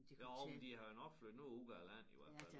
Jo men de har jo nok flyttet noget ud af æ land i hvert fald